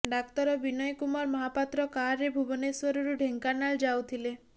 ଡାକ୍ତର ବିନୟ କୁମାର ମହାପାତ୍ର କାରରେ ଭୁବନେଶ୍ୱରରୁ ଢେଙ୍କାନାଳ ଯାଉଥିଲେ